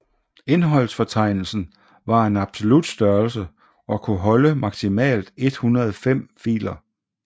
Indholdsfortegnelsen var en absolut størrelse og kunne holde maksimalt 105 filer